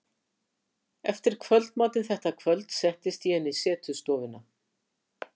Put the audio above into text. Eftir kvöldmatinn þetta kvöld settist ég inn í setustofuna.